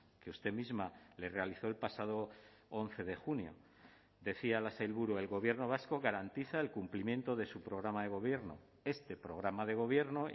que usted misma le realizó el pasado once de junio decía la sailburu el gobierno vasco garantiza el cumplimiento de su programa de gobierno este programa de gobierno